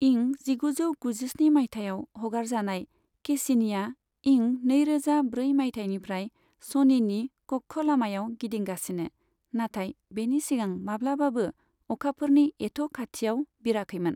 इं जिगुजौ गुजिस्नि माइथायाव हगारजानाय केसिनिआ इं नैरोजा ब्रै माइथायनिफ्राय शनिनि कक्ष'लामायाव गिदिंगासिनो, नाथाय बेनि सिगां माब्लाबाबो अखाफोरनि एथ' खाथियाव बिराखैमोन।